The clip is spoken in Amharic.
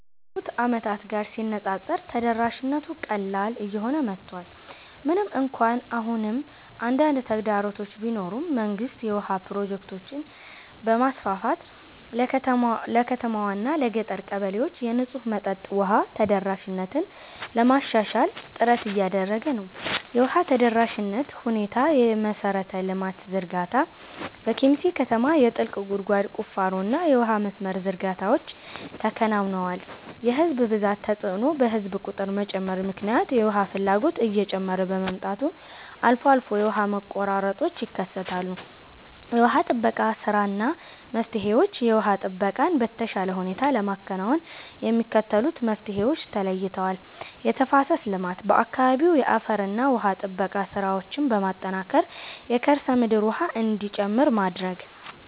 ካለፉት ዓመታት ጋር ሲነፃፀር ተደራሽነቱ ቀላል እየሆነ መጥቷል። ምንም እንኳን አሁንም አንዳንድ ተግዳሮቶች ቢኖሩም፣ መንግስት የውሃ ፕሮጀክቶችን በማስፋፋት ለከተማዋና ለገጠር ቀበሌዎች የንጹህ መጠጥ ውሃ ተደራሽነትን ለማሻሻል ጥረት እያደረገ ነው። የውሃ ተደራሽነት ሁኔታየመሠረተ ልማት ዝርጋታ፦ በኬሚሴ ከተማ የጥልቅ ጉድጓድ ቁፋሮና የውሃ መስመር ዝርጋታዎች ተከናውነዋል። የሕዝብ ብዛት ተጽዕኖ፦ በሕዝብ ቁጥር መጨመር ምክንያት የውሃ ፍላጎት እየጨመረ በመምጣቱ አልፎ አልፎ የውሃ መቆራረጦች ይከሰታሉ። የውሃ ጥበቃ ሥራና መፍትሄዎችየውሃ ጥበቃን በተሻለ ሁኔታ ለማከናወን የሚከተሉት መፍትሄዎች ተለይተዋል፦ የተፋሰስ ልማት፦ በአካባቢው የአፈርና ውሃ ጥበቃ ሥራዎችን በማጠናከር የከርሰ ምድር ውሃ እንዲጨምር ማድረግ።